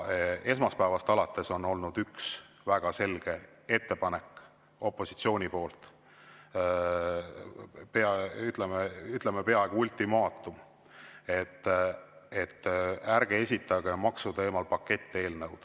Esmaspäevast alates on opositsioonil olnud üks väga selge ettepanek, ütleme, peaaegu ultimaatum, et ärge esitage maksuteemal paketteelnõu.